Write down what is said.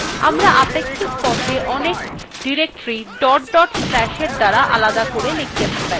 আমরা আপেক্ষিক patha অনেক/ we দ্বারা আলাদা করে লিখতে পারি